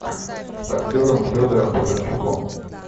с актером федором бондарчуком